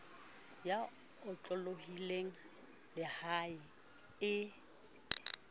e otlolohileng le ha e